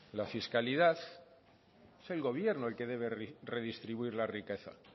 la fiscalidad es el gobierno el que debe redistribuir la riqueza